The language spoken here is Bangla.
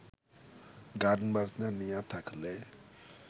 গান বাজনা নিয়া থাকলে